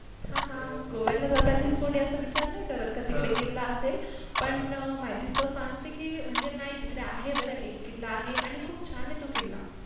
हा हा! गोवयला जातानी कोणी असं विचार नाही करत हम्म का तिकडे किल्ला असेल पण माहित ये त सांगते कि नाही तिकडे आहे बरं कि नाही एक किल्ला आहे आणि खूप छान आहे तो किल्ला